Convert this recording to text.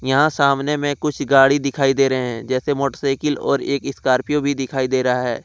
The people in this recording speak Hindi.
यहां सामने में कुछ गाड़ी दिखाई दे रहे हैं जैसे मोटरसाइकिल और एक स्कॉर्पियो भी दिखाई दे रहा है।